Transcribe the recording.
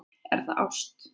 Er það ást?